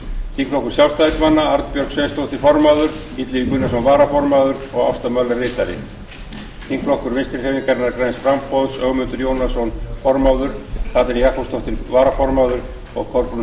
þingflokkur sjálfstæðismanna formaður arnbjörg sveinsdóttir varaformaður illugi gunnarsson ritari ásta möller þingflokkur vinstri hreyfingarinnar græns framboðs formaður ögmundur jónasson varaformaður katrín